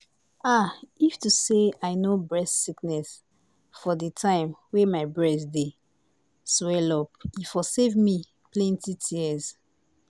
ah if to say i no breast sickness for di time wey my breast dey swell-up e for save me from plenty tears.